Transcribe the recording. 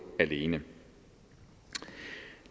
alene